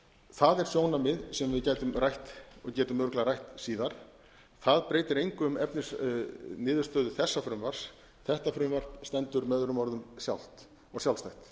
það er sjónarmið sem við gætum rætt og getum örugglega rætt síðar það breytir engu um efnisniðurstöðu þessa frumvarps þetta frumvarp stendur með öðrum orðum sjálft og sjálfstætt